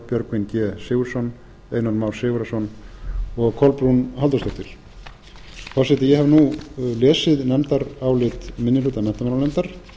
björgvin g sigurðsson einar már sigurðarson og kolbrún halldórsdóttir forseti ég hef nú lesið nefndarálit minni hluta menntamálanefndar